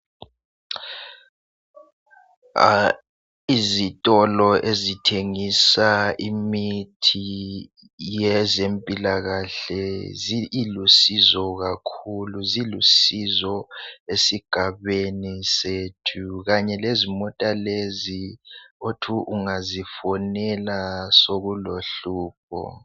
Izitolo ezithengisa imithi yezempilakahle ilusizo kakhulu zilusizo esigabeni sethu kanye lezimota lezi othi ungazifonela sokulohlupho.